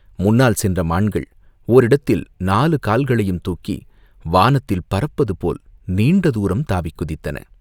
முன்னால் சென்ற மான்கள் ஓரிடத்தில் நாலு கால்களையும் தூக்கி வானத்தில் பறப்பது போல் நீண்ட தூரம் தாவிக் குதித்தன.